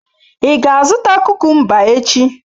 Ị ga-azụta kukumba echi?